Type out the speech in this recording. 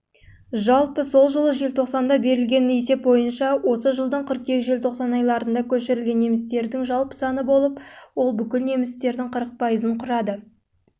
жалпы жылы желтоқсанда берілген есеп бойынша осы жылдың қыркүйек-желтоқсан айларында көшірілген немістердің жалпы саны болып ол бүкіл немістердің